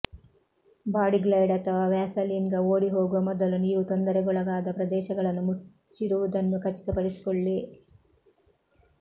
Body Glide ಅಥವಾ ವ್ಯಾಸಲೀನ್ಗೆ ಓಡಿಹೋಗುವ ಮೊದಲು ನೀವು ತೊಂದರೆಗೊಳಗಾದ ಪ್ರದೇಶಗಳನ್ನು ಮುಚ್ಚಿರುವುದನ್ನು ಖಚಿತಪಡಿಸಿಕೊಳ್ಳಿ